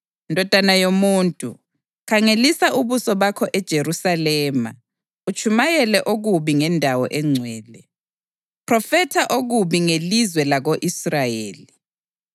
“Ndodana yomuntu, khangelisa ubuso bakho eJerusalema utshumayele okubi ngendawo engcwele. Phrofetha okubi ngelizwe lako-Israyeli